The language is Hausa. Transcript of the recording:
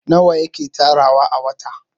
nawa yake tarawa a wata?